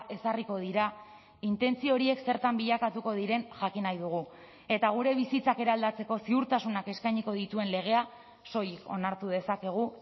ezarriko dira intentzio horiek zertan bilakatuko diren jakin nahi dugu eta gure bizitzak eraldatzeko ziurtasunak eskainiko dituen legea soilik onartu dezakegu